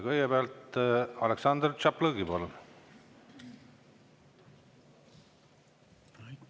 Kõigepealt Aleksandr Tšaplõgin, palun!